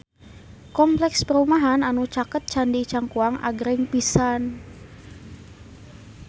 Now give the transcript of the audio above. Kompleks perumahan anu caket Candi Cangkuang agreng pisan